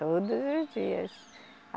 Todos os dias.